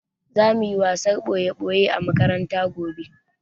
Za muyi wasan ɓoye-ɓoye a makaranta gobe